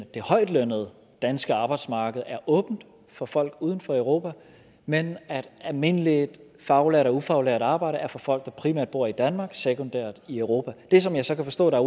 at det højtlønnede danske arbejdsmarked er åbent for folk uden for europa men at almindeligt faglært og ufaglært arbejde er for folk der primært bor i danmark sekundært i europa det som jeg så kan forstå der